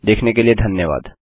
देखने के लिए धन्यवाद